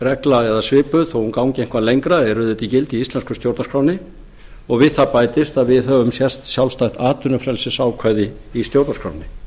jafnræðisregla eða svipuð þó hún gangi eitthvað lengra er auðvitað í gildi í íslensku stjórnarskránni og við það bætist að við höfum sjálfstætt atvinnufrelsisákvæði í stjórnarskránni